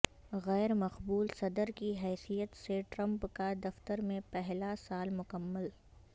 غیر مقبول صدر کی حیثیت سے ٹرمپ کا دفتر میں پہلا سال مکمل